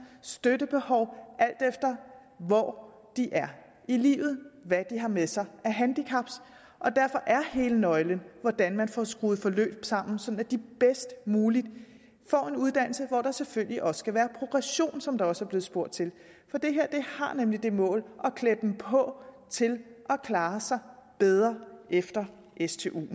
støttebehov alt efter hvor de er i livet og hvad de har med sig af handicap og derfor er hele nøglen hvordan man får skruet forløb sammen sådan at de bedst muligt får en uddannelse hvor der selvfølgelig også skal være progression som der også blev spurgt til for det her har nemlig det mål at klæde dem på til at klare sig bedre efter stuen